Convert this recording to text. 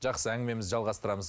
жақсы әңгімемізді жалғастырамыз